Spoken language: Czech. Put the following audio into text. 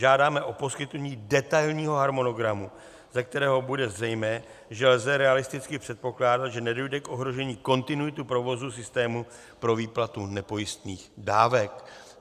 Žádáme o poskytnutí detailního harmonogramu, ze kterého bude zřejmé, že lze realisticky předpokládat, že nedojde k ohrožení kontinuity provozu systému pro výplatu nepojistných dávek.